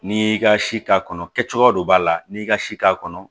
N'i y'i ka si k'a kɔnɔ kɛ cogo dɔ b'a la n'i y'i ka si k'a kɔnɔ